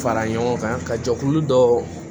Fara ɲɔgɔn kan ka jɛkulu dɔw